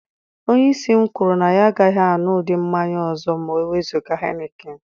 Onye isi m kwuru na ya agaghị aṅụ ụdị mmanya ọ ọzọ ma e wezụga Henekin.